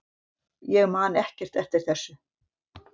Ég man ekkert eftir þessu.